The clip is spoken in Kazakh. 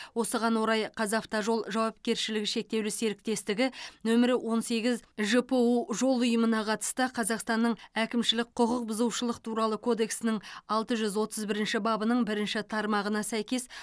осыған орай қазавтожол жауапкершілігі шектеулі серіктестігі нөмірі он сегіз жпу жол ұйымына қатысты қазақстанның әкімшілік құқық бұзушылық туралы кодексінің алты жүз отыз бірінші бабының бірінші тармағына сәйкес